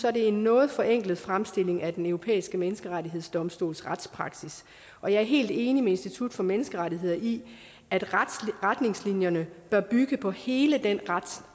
er det en noget forenklet fremstilling af den europæiske menneskerettighedsdomstols retspraksis og jeg er helt enig med institut for menneskerettigheder i at retningslinjerne bør bygge på hele den